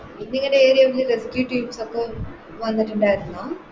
ഇന്നിങ്ങടെ Area ല് Rescue teams ഒക്കെ വന്നിട്ട്ണ്ടാരുന്നോ